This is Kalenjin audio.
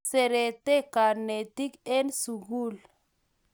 Kiserete kanetik en sukul